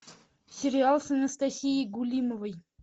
сериал с анастасией гулимовой